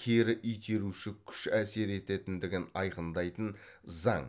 кері итеруші күш әсер ететіндігін айқындайтын заң